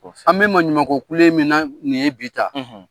An bɛ maɲumanko kule min na nin ye bi tan,